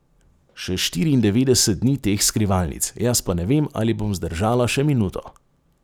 Še štiriindevetdeset dni teh skrivalnic, jaz pa ne vem, ali bom zdržala še minuto.